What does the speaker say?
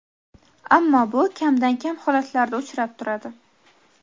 ammo bu kamdan kam holatlarda uchrab turadi.